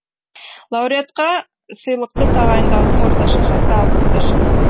лауреатқа сыйлықты тағайындаудың орташа жасы алпыс бес жас